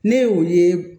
Ne ye o ye